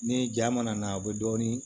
Ni ja mana na a bɛ dɔɔnin